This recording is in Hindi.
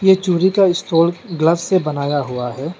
चूड़ी का स्टाल ग्लास से बनाया हुआ है।